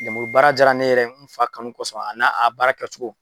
Lemurubaara diyara ne yɛrɛ ye, n fa kanu kɔsɔn a n'a a baara kɛ cogo